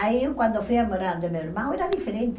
Aí eu, quando fui a morar do meu irmão, era diferente.